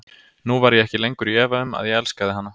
Nú var ég ekki lengur í efa um, að ég elskaði hana.